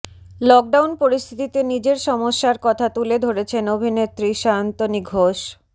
lockdown পরিস্থিতিতে নিজের সমস্যার কথা তুলে ধরেছেন অভিনেত্রী সায়ন্তনী ঘোষ